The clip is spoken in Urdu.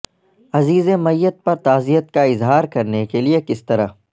عزیز میت پر تعزیت کا اظہار کرنے کے لئے کس طرح